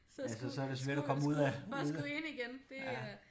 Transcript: Ja så så det svært at komme ud af ud af